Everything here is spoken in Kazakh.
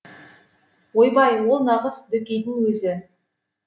ойбай ол нағыз дөкейдің өзі